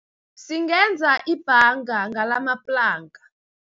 Singenza ibhanga ngalamaplanka.